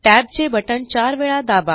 टॅबचे बटण चार वेळा दाबा